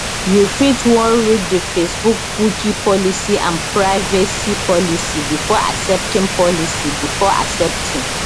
you fit wan read di facebook cookie policy and privacy policy before accepting policy before accepting